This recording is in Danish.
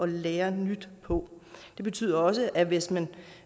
lære nyt på det betyder også at hvis man